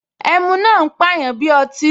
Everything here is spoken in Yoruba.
Ẹmu máa ń pàyàn bí ọtí